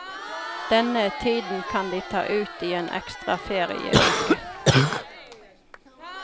Denne tiden kan de ta ut i en ekstra ferieuke.